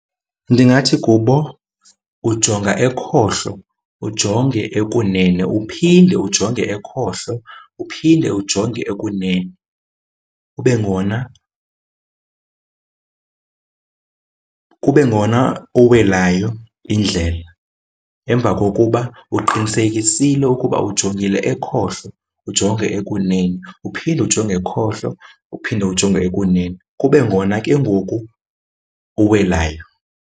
Ndingathi kubo, ujonga ekhohlo, ujonge ekunene. Uphinde ujonge ekhohlo, uphinde ujonge ekunene kube ngona kube ngona uweleyo indlela. Emva kokuba uqinisekisile ukuba ujongile ekhohlo, ujonge ekunenene. Uphinde ujonge ekhohlo, uphinde ujonge ekunene kube ngona ke ngoku uwelayo.